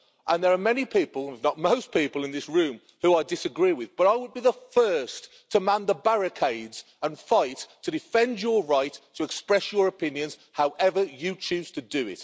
There are many people if not most people in this room who I disagree with, but I would be the first to man the barricades and fight to defend your right to express your opinions, however you choose to do